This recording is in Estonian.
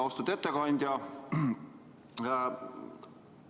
Austatud ettekandja!